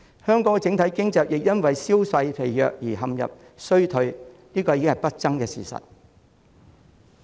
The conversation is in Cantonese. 香港整體經濟因銷售疲弱而陷入衰退，已經是不爭的事實。